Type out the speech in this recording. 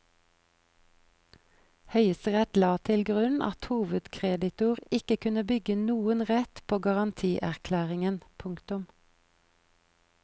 Høyesterett la til grunn at hovedkreditor ikke kunne bygge noen rett på garantierklæringen. punktum